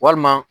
Walima